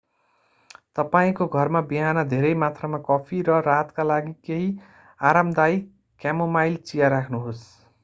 तपाईंको घरमा बिहान धेरै मात्रामा कफी र रातका लागि केही आरामदायी क्यामोमाइल चिया राख्नुहोस्‌।